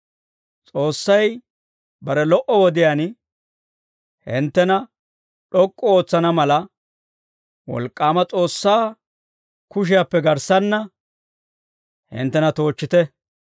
S'oossay bare lo"o wodiyaan hinttena d'ok'k'u ootsana mala, wolk'k'aama S'oossaa kushiyaappe garssanna hinttena toochchite.